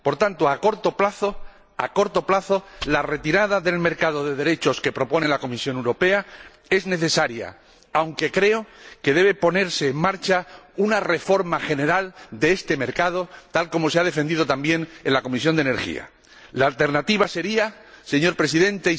Por tanto, a corto plazo, la retirada del mercado de derechos que propone la Comisión Europea es necesaria, aunque creo que debe ponerse en marcha una reforma general de este mercado, tal como se ha defendido también en la Comisión de Industria, Investigación y Energía. La alternativa sería, señor Presidente,